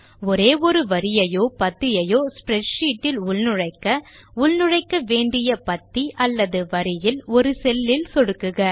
ஒரே ஒரு வரியையோ பத்தியையோ ஸ்ப்ரெட்ஷீட் இல் உள்நுழைக்க உள்நுழைக்க வேண்டிய பத்தி அல்லது வரியில் ஒரு செல்லில் சொடுக்குக